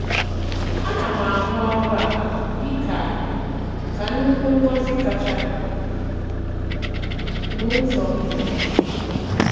A ná m ahụ̀ ọrụ a dị kà ka nnukwu ngọ́zi kacha n’ụzọ̀ ndụ m.